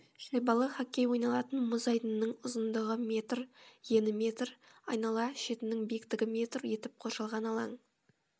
шайбалы хоккей ойналатын мұз айдынының ұзындығы метр ені метр айнала шетінің биіктігі метр етіп қоршалған алаң